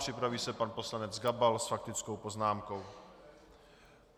Připraví se pan poslanec Gabal s faktickou poznámkou.